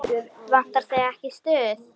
Vantar þig ekki stuð?